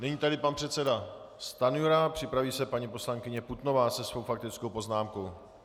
Nyní tedy pan předseda Stanjura, připraví se paní poslankyně Putnová se svou faktickou poznámkou.